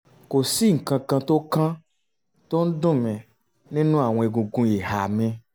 kò sí nǹkan kan tó kan tó ń dùn mí nínú àwọn egungun ìhà mi